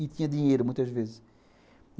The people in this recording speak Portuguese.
E tinha dinheiro, muitas vezes.